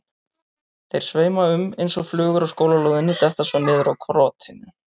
Þeir sveima um eins og flugur á skólalóðinni, detta svo niður hjá krotinu.